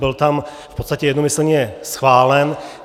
Byl tam v podstatě jednomyslně schválen.